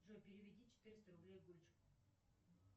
джой переведи четыреста рублей